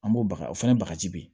An b'o baga o fɛnɛ bagaji be yen